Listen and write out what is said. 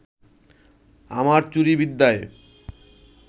আমার চুরি বিদ্যায়